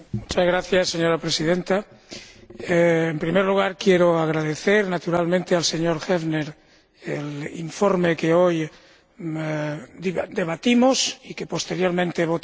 Señora Presidenta, en primer lugar quiero agradecer, naturalmente, al señor Häfner el informe que hoy debatimos y que posteriormente votaremos.